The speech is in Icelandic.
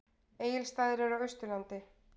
Egilsstaðir eru á Austurlandi.